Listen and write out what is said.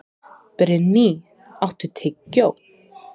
Brynný, áttu tyggjó?